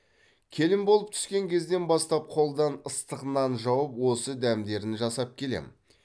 келін болып түскен кезден бастап қолдан ыстық нан жауып осы дәмдерін жасап келемін